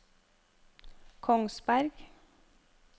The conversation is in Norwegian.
Kongsberg